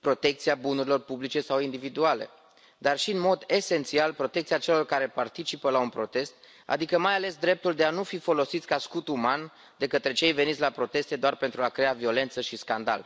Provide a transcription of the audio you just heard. protecția bunurilor publice sau individuale, dar și, în mod esențial, protecția celor care participă la un protest, adică mai ales dreptul de a nu fi folosiți ca scut uman de către cei veniți la proteste doar pentru a crea violență și scandal.